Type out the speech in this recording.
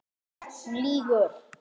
Hún lýgur.